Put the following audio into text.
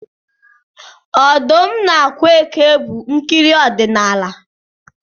Ọdụm na ákwà eke bụ nkiri odinala